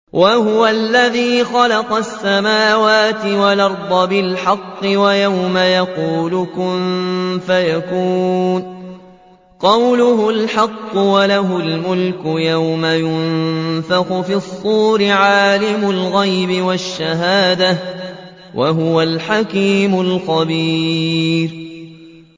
وَهُوَ الَّذِي خَلَقَ السَّمَاوَاتِ وَالْأَرْضَ بِالْحَقِّ ۖ وَيَوْمَ يَقُولُ كُن فَيَكُونُ ۚ قَوْلُهُ الْحَقُّ ۚ وَلَهُ الْمُلْكُ يَوْمَ يُنفَخُ فِي الصُّورِ ۚ عَالِمُ الْغَيْبِ وَالشَّهَادَةِ ۚ وَهُوَ الْحَكِيمُ الْخَبِيرُ